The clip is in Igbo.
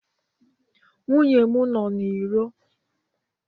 Nwunye m nọọ n'iro.